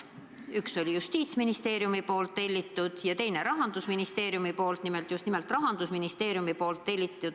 Üks oli Justiitsministeeriumi tellitud ja teine Rahandusministeeriumi tellitud.